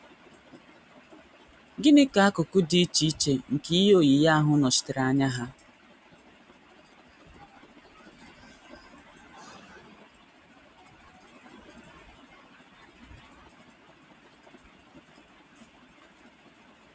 Gịnị ka akụkụ dị iche iche nke ihe oyiyi ahụ nọchitere anya ha?